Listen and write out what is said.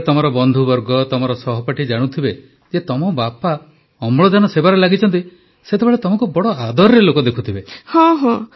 ଯେତେବେଳେ ତମ ବନ୍ଧୁବର୍ଗ ତମର ସହପାଠୀ ଜାଣୁଥିବେ ଯେ ତମ ବାପା ଅମ୍ଳଜାନ ସେବାରେ ଲାଗିଛନ୍ତି ସେତେବେଳେ ତମକୁ ମଧ୍ୟ ବଡ଼ ଆଦରରେ ଲୋକେ ଦେଖୁଥିବେ